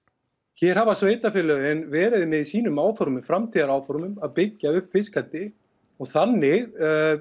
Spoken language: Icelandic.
hér hafa sveitarfélög verið í sínum óformlegu framtíðaráhorfum að byggja upp fiskeldi og þannig